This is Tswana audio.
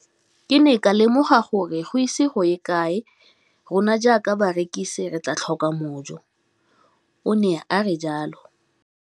Ke ne ka lemoga gore go ise go ye kae rona jaaka barekise re tla tlhoka mojo, o ne a re jalo.